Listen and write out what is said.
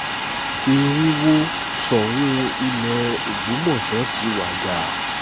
ẹ̀rín wó sọun ilé ògbómọṣọ ti wàjà